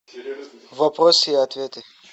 вопросы и ответы